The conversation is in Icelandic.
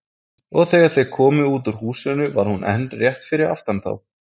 Og þegar þeir komu út úr húsinu var hún enn rétt fyrir aftan þá.